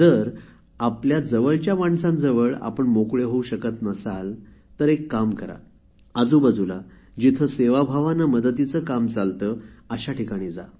जर आपल्या जवळच्या माणसांजवळ आपण मोकळे होऊ शकत नसाल तर एक काम करा आजूबाजूला जिथे सेवाभावाने मदतीचे काम चालते अशा ठिकाणी जा